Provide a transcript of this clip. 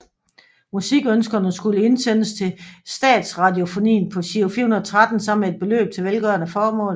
Musikønskerne skulle indsendes til Statsradiofonien på Giro 413 sammen med et beløb til velgørende formål